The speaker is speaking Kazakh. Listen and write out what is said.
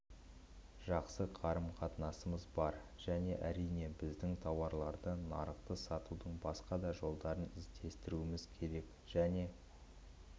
жақсы қарым-қатынасымыз бар және әрине біздің тауарларды нарықты сатудың басқа да жолдарын іздестіруіміз керек және